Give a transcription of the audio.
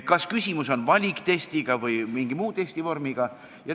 Kas tegemist on valiktestiga või mõne muu testivormiga?